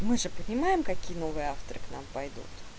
мы же понимаем какие новые авторы к нам пойдут